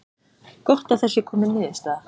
Gott að það sé komin niðurstaða